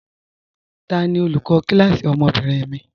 Tani olùkọ kílásí ọmọ́bìnrin mi?